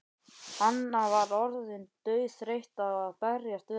Anna var orðin dauðþreytt á að berjast við hana.